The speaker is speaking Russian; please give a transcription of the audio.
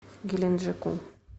геленджику